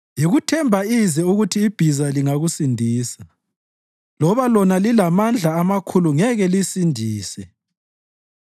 Yikuthemba ize ukuthi ibhiza lingakusindisa; loba lona lilamandla amakhulu ngeke lisindise.